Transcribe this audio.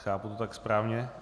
Chápu to tak správně?